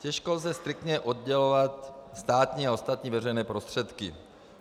Těžko lze striktně oddělovat státní a ostatní veřejné prostředky.